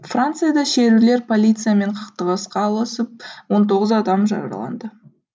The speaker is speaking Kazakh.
францияда шерулер полициямен қақтығысқа ұласып он тоғыз адам жараланды